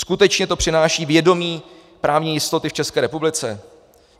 Skutečně to přináší vědomí právní jistoty v České republice?